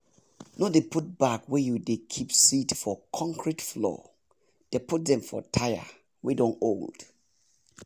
no dey put bag wey you dey keep seed for concrete floor dey put dem for tyre wey don old